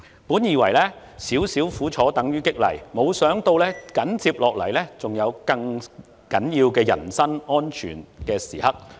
本以為"少少苦楚等於激勵"，沒想到緊接下來還有危害人身安全的更重要時刻。